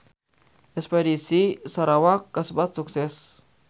Espedisi ka Sarawak kasebat sukses